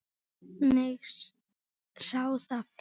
Hver sá það fyrir?